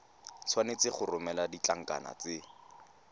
tshwanetse go romela ditlankana tse